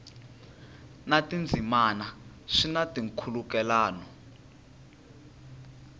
na tindzimana swi na nkhulukelano